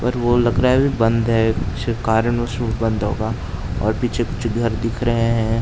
पर वो लग रहा है अभी बंद है कुछ कारणवश वो बंद होगा और पीछे-पीछे घर दिख रहे हैं।